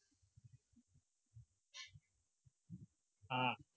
હા